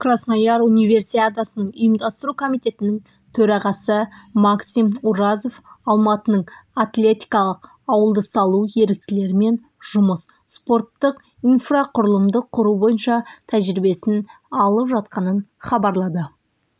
краснояр универсиадасының ұйымдастыру комитетінің төрағасы максим уразов алматының атлетикалық ауылды салу еріктілермен жұмыс спорттық инфрақұрылымды құру бойынша тәжірибесін алып жатқанын хабарлады